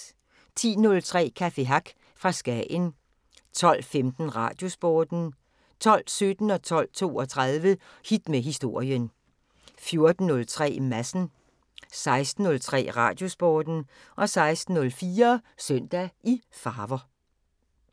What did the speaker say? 10:03: Café Hack fra Skagen 12:15: Radiosporten 12:17: Hit med Historien 12:32: Hit med Historien 14:03: Madsen 16:03: Radiosporten 16:04: Søndag i farver